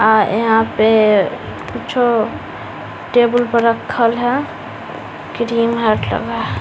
और यहाँ पे कुछो टेबुल पर रक्खल है क्रीम है --